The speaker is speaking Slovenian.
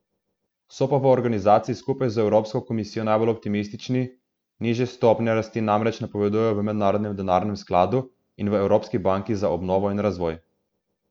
So pa v organizaciji skupaj z evropsko komisijo najbolj optimistični, nižje stopnje rasti namreč napovedujejo v Mednarodnem denarnem skladu in v Evropski banki za obnovo in razvoj.